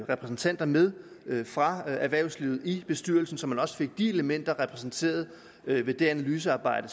repræsentanter med fra erhvervslivet i bestyrelsen så man også fik det element repræsenteret i det analysearbejde